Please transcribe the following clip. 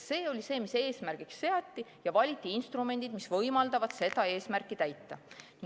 See seati eesmärgiks ja valiti instrumendid, mis võimaldavad seda eesmärki täita.